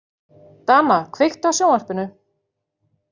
Dana, kveiktu á sjónvarpinu.